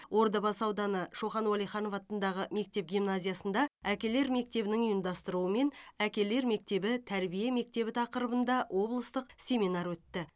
ордабасы ауданы шоқан уалиханов атындағы мектеп гимназиясында әкелер мектебінің ұйымдастыруымен әкелер мектебі тәрбие мектебі тақырыбында облыстық семинар өтті